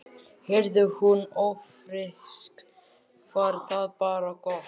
Yrði hún ófrísk var það bara gott.